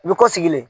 U bɛ ko sigilen